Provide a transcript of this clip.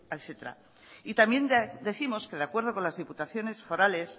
etcétera y también décimos que de acuerdo con las diputaciones forales